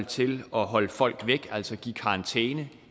til at holde folk væk altså give karantæne